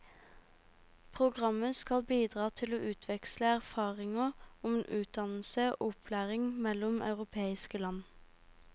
Programmet skal bidra til å utveksle erfaringer om utdannelse og opplæring mellom europeiske land.